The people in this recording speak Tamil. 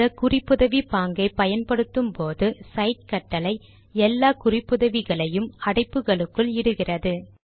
இந்த குறிப்புதவி பாங்கை பயன்படுத்தும் போது சைட் கட்டளை எல்லா குறிப்புதவிகளையும் அடைப்புகளுக்குள் இடுகிறது